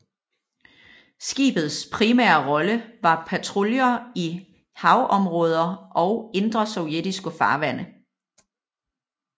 Skibets primære rolle var patruljer i haveområder og indre sovjetiske farvande